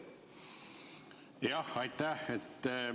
Jah, aitäh!